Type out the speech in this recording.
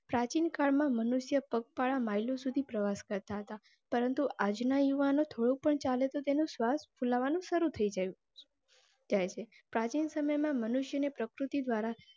પ્રાચીન કાળમાં મનુષ્ય પગપાળા મિલો સુધી પ્રવાસ કરતા હતા. પરંતુ આજ ના યુવાનો થોડું પણ ચાલે તો તેનો વિશ્વાસ ફુલાવાનું ચાલું થઇ જાય જાય છે. પ્રાચીન સમય માં મનુષ્ય ને પ્રકૃતિ દ્વારા.